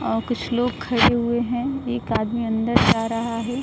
औ कुछ लोग खड़े हुए हैं। एक आदमी अंदर जा रहा है।